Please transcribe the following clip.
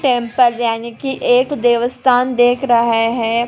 Temple जाने की एक देवस्थान देख रहा है।